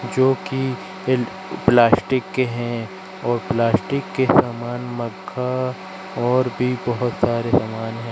जो की प्लास्टिक के है और प्लास्टिक के सामान मक्खा और भी बहोत सारे सामान है।